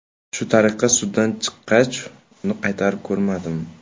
Shu tariqa suddan chiqqach, uni qaytib ko‘rmadim.